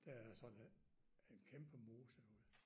Der er sådan en en kæmpe mose ude